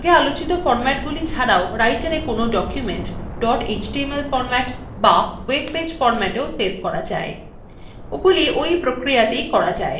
আগে আলোচিত formatsগুলি ছাড়াও writera কোনো documents dot html formats be web page formatsin সেভ করা যায়